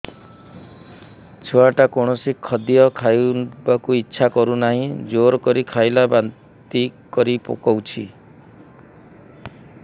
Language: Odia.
ଛୁଆ ଟା କୌଣସି ଖଦୀୟ ଖାଇବାକୁ ଈଛା କରୁନାହିଁ ଜୋର କରି ଖାଇଲା ବାନ୍ତି କରି ପକଉଛି